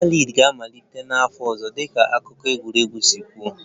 Premier League ga-amalite n'afọ ọzọ dịka akụkọ egwuregwu si kwuo